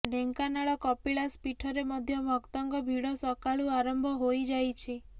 ଢେଙ୍କାନାଳ କପିଳାସ ପୀଠରେ ମଧ୍ୟ ଭକ୍ତଙ୍କ ଭିଡ଼ ସକାଳୁ ଆରମ୍ଭ ହୋଇଯାଇଛି